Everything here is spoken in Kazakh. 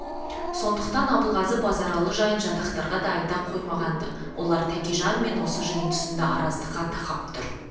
сондықтан абылғазы базаралы жайын жатақтарға да айта қоймаған-ды олар тәкежанмен осы жиын тұсында араздыққа тақап тұр